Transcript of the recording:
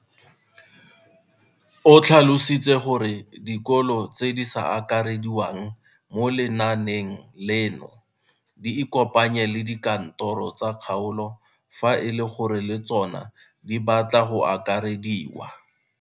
O tlhalositse gore dikolo tse di sa akarediwang mo lenaaneng leno di ikopanye le dikantoro tsa kgaolo fa e le gore le tsona di batla go akarediwa.